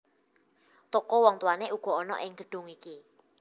Toko wong tuwané uga ana ing gedhong iki